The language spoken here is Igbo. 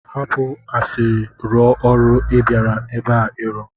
Hapụ asịrị rụọ ọrụ ị bịara ebe a ịrụ!